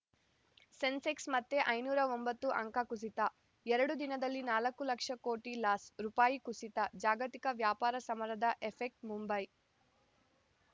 ಸೆನ್ಸೆಕ್ಸ್‌ ಮತ್ತೆ ಐನೂರ ಒಂಬತ್ತು ಅಂಕ ಕುಸಿತ ಎರಡು ದಿನದಲ್ಲಿ ನಾಲ್ಕು ಲಕ್ಷ ಕೋಟಿ ಲಾಸ್‌ ರುಪಾಯಿ ಕುಸಿತ ಜಾಗತಿಕ ವ್ಯಾಪಾರ ಸಮರದ ಎಫೆಕ್ಟ್ ಮುಂಬೈ